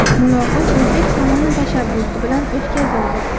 Muloqot o‘zbek tomoni tashabbusi bilan o‘tkazildi.